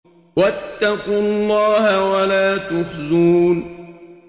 وَاتَّقُوا اللَّهَ وَلَا تُخْزُونِ